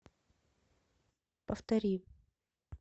повтори